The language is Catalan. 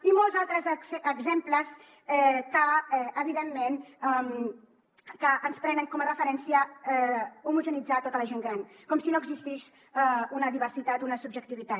i molts altres exemples que evidentment ens prenen com a referència homogeneïtzar tota la gent gran com si no existís una diversitat una subjectivitat